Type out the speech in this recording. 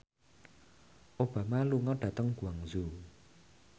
Obama lunga dhateng Guangzhou